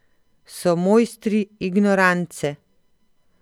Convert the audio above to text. So mojstri ignorance.